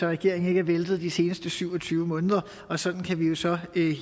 regeringen ikke er væltet de seneste syv og tyve måneder og sådan kan vi jo så